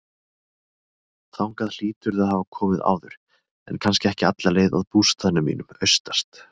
Þangað hlýturðu að hafa komið áður, en kannski ekki alla leið að bústaðnum mínum, austast.